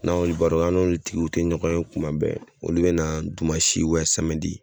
N'an y'olu baaraw kɛ an n'olu tigiw te ɲɔgɔn ye kuma bɛɛ olu be na dumansi ubiyɛn samedi